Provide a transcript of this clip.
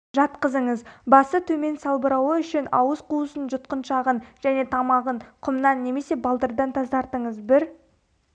жатқызыңыз басы төмен салбырауы үшін ауыз қуысын жұтқыншағын және тамағын құмнан немесе балдырдан тазартыңыз бір